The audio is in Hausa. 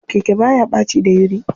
Keke baya ɓaci dayuri.